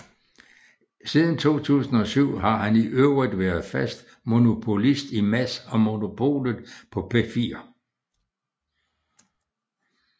Siden 2007 har han i øvrigt været fast monopolist i Mads og Monopolet på P4